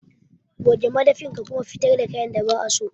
Goge madafin ka kuma fitar da kayan da ba'a so.